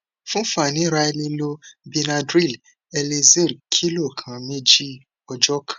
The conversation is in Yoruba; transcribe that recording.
fun fàníra ẹ lè lo benadryl elixir kìlọ kan méjì ọjọ kan